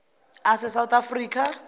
ase south africa